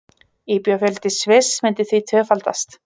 Íbúafjöldi Sviss myndi því tvöfaldast